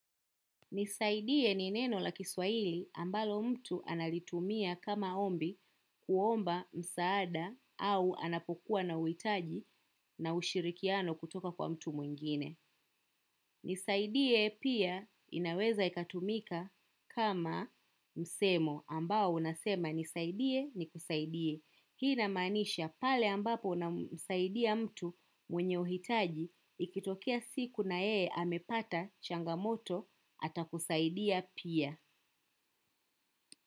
Nisaidie ni neno la kiswahili ambalo mtu analitumia kama ombi kuomba msaada au anapokuwa na uhitaji na ushirikiano kutoka kwa mtu mwingine. Nisaidie pia inaweza ikatumika kama msemo ambao unasema nisaidie nikusaidie. Hii inamaanisha pale ambapo namsaidia mtu mwenye uhitaji ikitokia siku na yeye amepata changamoto ata kusaidia pia.